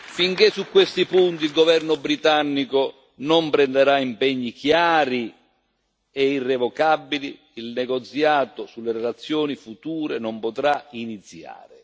Finché su questi punti il governo britannico non prenderà impegni chiari e irrevocabili, il negoziato sulle relazioni future non potrà iniziare.